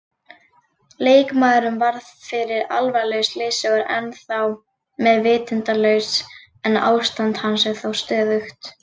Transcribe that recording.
Leikmaðurinn varð fyrir alvarlegu slysi og er ennþá meðvitundarlaus en ástand hans er þó stöðugt.